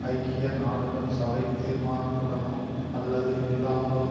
ஐக்கிய நாடுகள் சபை தீர்மானத்துடனோ அல்லது இல்லாமலோ